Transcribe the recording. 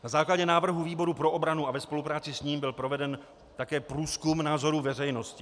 Na základě návrhu výboru pro obranu a ve spolupráci s ním byl proveden také průzkum názorů veřejnosti.